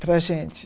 Para a gente.